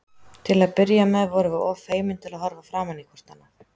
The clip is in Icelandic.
Til að byrja með vorum við of feimin til að horfa framan í hvort annað.